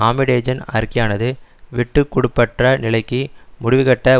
ஆமிடேஜின் அறிக்கையானது விட்டு கொடுப்பற்ற நிலைக்கு முடிவுகட்ட